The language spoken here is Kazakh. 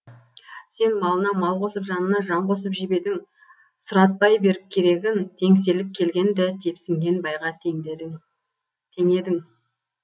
сен малына мал қосып жанына жан қосып жебедің сұратпай беріп керегін теңселіп келгенді тепсінген байға теңдедің теңедің